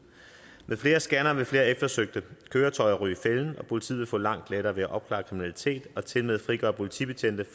med flere scannere vil flere eftersøgte køretøjer ryge i fælden og politiet vil få langt lettere ved at opklare kriminalitet og tilmed frigøre politibetjente